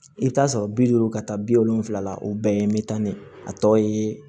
I bɛ taa sɔrɔ bi duuru ka taa bi wolonfila o bɛɛ ye n bɛ taa ne tɔ ye